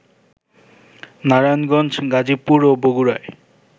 নারায়ণগঞ্জ, গাজীপুর ও বগুড়ায়